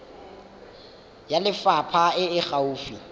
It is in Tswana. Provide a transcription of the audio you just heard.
ya lefapha e e gaufi